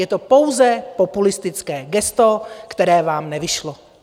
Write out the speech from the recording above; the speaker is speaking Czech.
Je to pouze populistické gesto, které vám nevyšlo.